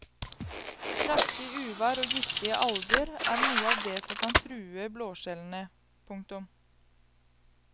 Kraftig uvær og giftige alger er noe av det som kan true blåskjellene. punktum